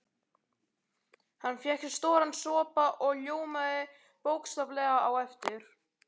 Hann fékk sér stóran sopa og ljómaði bókstaflega á eftir.